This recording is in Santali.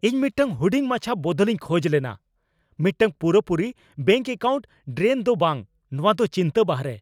ᱤᱧ ᱢᱤᱫᱴᱟᱝ ᱦᱩᱰᱤᱧ ᱢᱟᱪᱷᱟ ᱵᱚᱫᱚᱞ ᱤᱧ ᱠᱷᱚᱡ ᱞᱮᱱᱟ, ᱢᱤᱫᱴᱟᱝ ᱯᱩᱨᱟᱹᱯᱩᱨᱤ ᱵᱮᱝᱠ ᱮᱠᱟᱣᱩᱱᱴ ᱰᱨᱮᱱ ᱫᱚ ᱵᱟᱝ ! ᱱᱚᱶᱟ ᱫᱚ ᱪᱤᱱᱛᱟ ᱵᱟᱦᱨᱮ ᱾